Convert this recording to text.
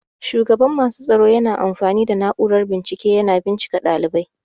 Shugaban masu tsaro na amfani da na'urar bincike yana bincika ɗalibai.